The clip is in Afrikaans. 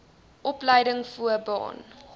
opleiding voo baan